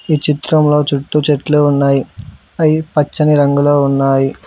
ఈ చిత్రంలో చుట్టూ చెట్లు ఉన్నాయి అయి పచ్చని రంగులో ఉన్నాయి.